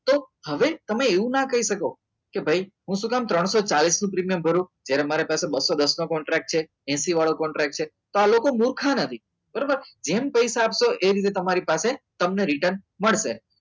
તો હવે તમે એવું ના કહી શકો કે ભાઈ હું શું કામ ત્રણસો ચાલીસ નું પ્રીમિયમ ભરો જ્યારે તમારી પાસે બસો દસ નો કોન્ટ્રાક્ટ છે હેસિ વાળો કોન્ટ્રાક્ટ છે તો આ લોકો મૂર્ખા નથી બરોબર જેમ પૈસા આપો એમ એવી રીતે તમારી પાસે તમને return મળશે